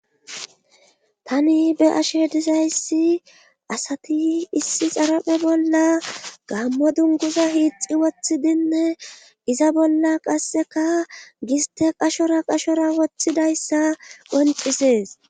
Tani be ashe disayssi asati issi xarape bolla gammo dunguza hiixi wothidinne iza bolla qasseka giste qashora qashora wothidayssa qocises.